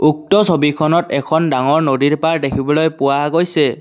উক্ত ছবিখনত এখন ডাঙৰ নদীৰ পাৰ দেখিবলৈ পোৱা গৈছে।